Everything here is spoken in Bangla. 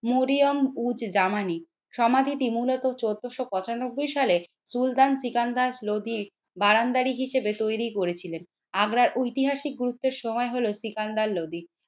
মরিয়ম উজ জামানি সমাধিটি মূলত চৌদ্দশ পঁচানব্বই সালের সুলতান সিকান্দার লোদীর বারান্দারী হিসেবে তৈরি করেছিলেন। আগ্রার ঐতিহাসিক গুরুত্বের সময় হলো সিকান্দার লোদী।